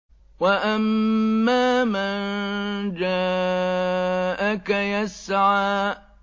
وَأَمَّا مَن جَاءَكَ يَسْعَىٰ